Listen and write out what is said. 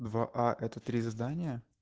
два а это три задания